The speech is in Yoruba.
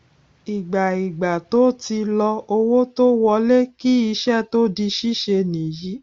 ìgbà ìgbà tó ti lọ owó tó wọlé kí iṣẹ tó di síse nìyí